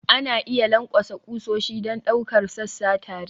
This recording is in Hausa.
Ana iya lankwasa ƙusoshi don ɗaukar sassa tare.